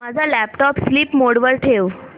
माझा laptop sleep mode वर ठेव